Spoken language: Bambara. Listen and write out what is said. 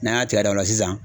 N'an y'a cɛ ka da o la sisan